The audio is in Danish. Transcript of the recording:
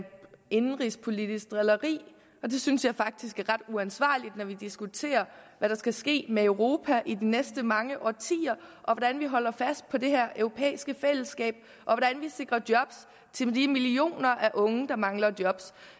indenrigspolitisk drilleri det synes jeg faktisk er ret uansvarligt når vi diskuterer hvad der skal ske med europa i de næste mange årtier og hvordan vi holder fast på det her europæiske fællesskab og hvordan vi sikrer job til de millioner af unge der mangler job